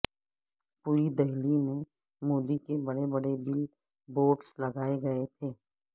پوری دہلی میں مودی کے بڑے بڑے بل بورڈز لگائے گئے تھے